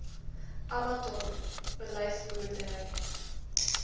abbatior olyf boerdery